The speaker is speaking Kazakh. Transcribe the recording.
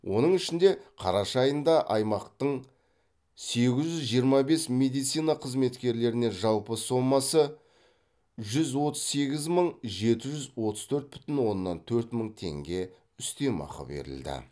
оның ішінде қараша айында аймақтың сегіз жүз жиырма бес медицина қызметкеріне жалпы сомасы жүз отыз сегіз мың жеті жүз отыз төрт бүтін оннан төрт мың теңге үстем ақы берілді